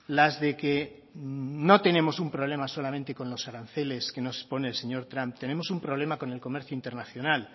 las de que no tenemos un problema solamente con los aranceles que nos pone el señor trump tenemos un problema con el comercio internacional